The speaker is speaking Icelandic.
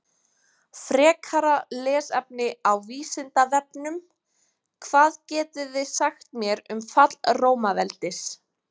Frekara lesefni á Vísindavefnum: Hvað getiði sagt mér um fall Rómaveldis?